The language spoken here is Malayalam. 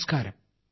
നമസ്കാരം